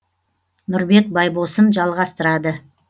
нұрбек байбосын жалғастырады